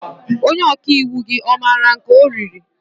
Onye ọkàiwu gị ọ maara nke ọ riri?